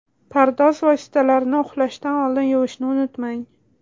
Pardoz vositalarini uxlashdan oldin yuvishni unutmang.